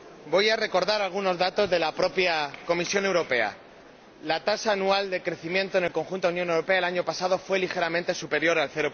Voy a recordar algunos datos de la propia Comisión Europea la tasa anual de crecimiento en el conjunto de la Unión Europea el año pasado fue ligeramente superior al